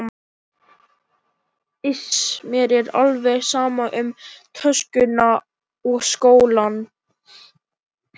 Iss, mér er alveg sama um töskuna og skólann